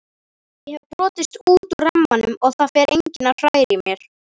Ég hef brotist út úr rammanum og það fer enginn að hræra í mér.